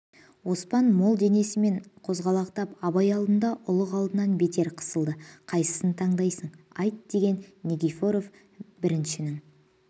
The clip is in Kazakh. оспан мол денесімен қозғалақтап абай алдында ұлық алдынан бетер қысылды қайсысын тандайсың айт деген никифоров біріншінің